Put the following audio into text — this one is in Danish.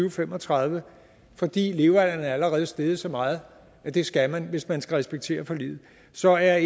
og fem og tredive fordi levealderen allerede er steget så meget at det skal man hvis man skal respektere forliget så er